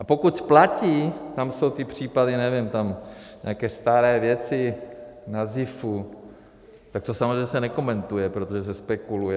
A pokud platí, tam jsou ty případy, nevím, tam nějaké staré věci na ZIFu, tak to samozřejmě se nekomentuje, protože se spekuluje.